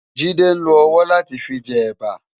Jide n ló òwò lá ti fi jè èbá